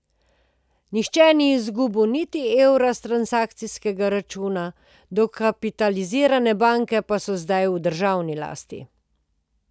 Nihče ni izgubil niti evra s transakcijskega računa, dokapitalizirane banke pa so zdaj v državni lasti.